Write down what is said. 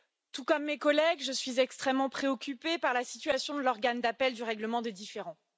Tout comme mes collègues, je suis extrêmement préoccupée par la situation de l'Organe d'appel du règlement des différends.